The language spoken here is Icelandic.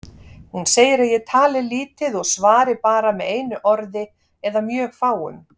Hún segir að ég tali lítið og svari bara með einu orði eða mjög fáum.